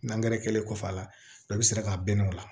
Nangɛrɛ kɛlen kɔfɛ a la a bɛ sɔrɔ ka bɛnn'o la